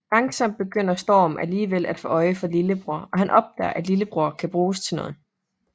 Langsomt begynder Storm alligevel at få øje for lillebror og han opdager at Lillebror kan bruges til noget